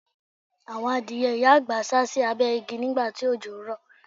Àwọn adìẹ ìyá àgbà sá sì abẹ́ igi nígbà tí òjò ń rò.